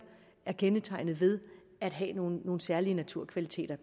er kendetegnet ved at have nogle særlige naturkvaliteter